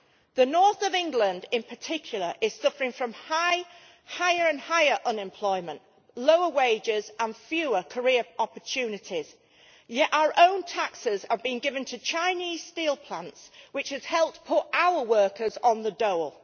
The North of England in particular is suffering from higher and higher unemployment, lower wages and fewer career opportunities, yet our own taxes are being given to Chinese steel plants, which has helped put our workers on the dole.